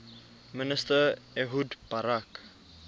minister ehud barak